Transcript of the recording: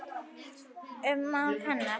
Ummál hennar